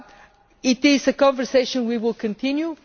This is a conversation we will continue.